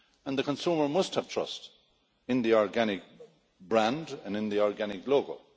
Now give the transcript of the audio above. The consumer must have trust in the organic brand and in the organic logo.